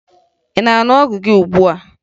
Ị na-aṅụ ọgwụ gị ugbua?